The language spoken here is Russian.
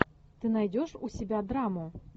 ты найдешь у себя драму